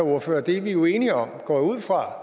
ordføreren er vi jo enige om går jeg ud fra